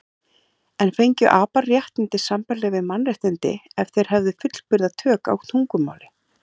En fengju apar réttindi sambærileg við mannréttindi ef þeir hefðu fullburða tök á tungumáli?